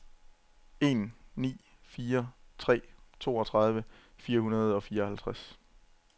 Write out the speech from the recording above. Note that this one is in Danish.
en ni fire tre toogtredive fire hundrede og fireoghalvtreds